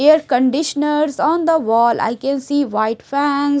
air conditioners on the wall I can see white fans.